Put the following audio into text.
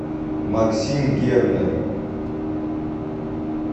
максим гернер